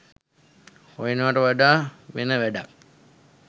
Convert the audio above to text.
හොයනවාට වඩා වෙන වැඩක්